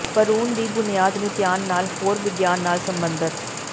ਭਰੂਣ ਦੀ ਬੁਨਿਆਦ ਨੂੰ ਧਿਆਨ ਨਾਲ ਹੋਰ ਵਿਗਿਆਨ ਨਾਲ ਸਬੰਧਤ